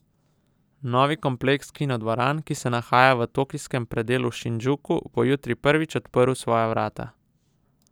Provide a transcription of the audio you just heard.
Novi kompleks kinodvoran, ki se nahaja v tokijskem predelu Šindžuku, bo jutri prvič odprl svoja vrata.